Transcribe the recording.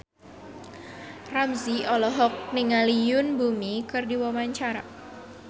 Ramzy olohok ningali Yoon Bomi keur diwawancara